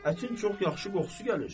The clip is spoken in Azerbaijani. Ətin çox yaxşı qoxusu gəlir.